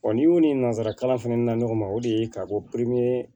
n'i y'u ni nanzara kalan na ɲɔgɔn ma o de ye ka bɔ